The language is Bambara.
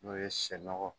N'o ye sɛ nɔgɔ